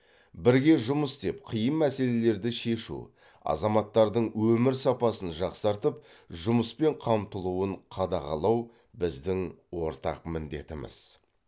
бірге жұмыс істеп қиын мәселелерді шешу азаматтардың өмір сапасын жақсартып жұмыспен қамтылуын қадағалау біздің ортақ міндетіміз